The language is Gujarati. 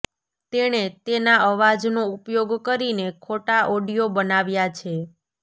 તેણે તેના અવાજનો ઉપયોગ કરીને ખોટા ઓડિયો બનાવ્યા છે